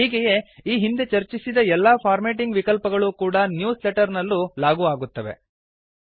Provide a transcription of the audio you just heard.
ಹೀಗೆಯೇ ಈ ಹಿಂದೆ ಚರ್ಚಿಸಿದ ಎಲ್ಲಾ ಫಾರ್ಮ್ಯಾಟಿಂಗ್ ವಿಕಲ್ಪಗಳೂ ಕೂಡಾ ನ್ಯೂಸ್ ಲೆಟರ್ ನಲ್ಲೂ ಲಾಗೂ ಆಗುತ್ತವೆ